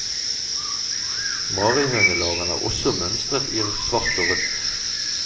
Marihønelarvene er også mønstret i svart og rødt.